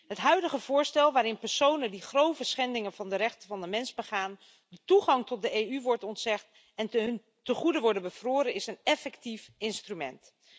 Het huidige voorstel waarin personen die grove schendingen van de rechten van de mens begaan de toegang tot de EU wordt ontzegd en hun tegoeden worden bevroren, is een effectief instrument.